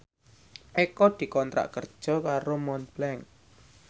Eko dikontrak kerja karo Montblanc